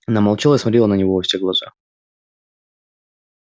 она молчала и смотрела на него во все глаза